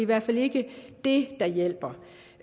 hvert fald ikke det der hjælper